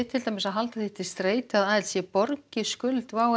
að halda því til streitu að ALC borgi skuldi WOW